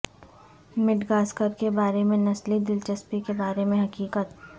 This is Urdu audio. مڈغاسکر کے بارے میں نسلی دلچسپی کے بارے میں حقیقت